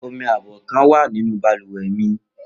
Omi abọ́ kan wà nínú balùwẹ̀ mi